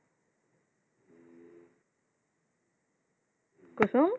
কুসুম?